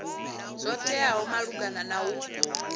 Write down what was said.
zwo teaho malugana na u